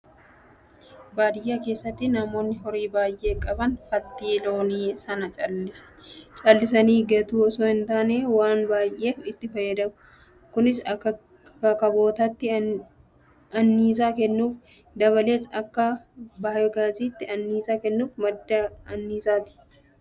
Baadiyyaa keessatti namoonni horii baay'ee qaban faltii loonii sana callisanii gatu osoo hin taane waan baay'eef itti fayyadamu. Kunis akka kabootaatti anniisaa kennuuf, dabalees akka baayoogaasiitti anniisaa kennuuf madda anniisaati.